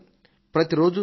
ప్రతి రోజు శుభవార్తే